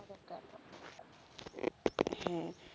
হ্যাঁ।